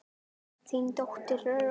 Þín dóttir Þórdís.